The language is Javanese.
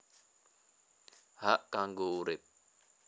Hak kanggo urip